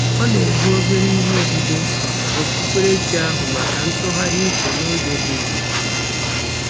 Ọ na-ebu obere ihe odide okpukperechi ahụ maka ntụgharị uche n'oge dị jụụ.